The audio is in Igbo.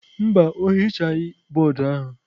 Mba, o hichaghị bọọdụ ahụ.